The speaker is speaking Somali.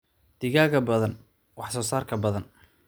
Digaagga badan, wax soo saarka badan.